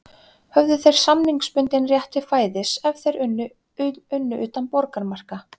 Höfðu þeir samningsbundinn rétt til fæðis ef þeir unnu utan borgarmarka